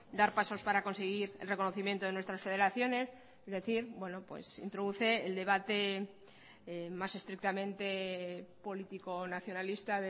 dar pasos para conseguir el reconocimiento de nuestras federaciones es decir introduce el debate más estrictamente político nacionalista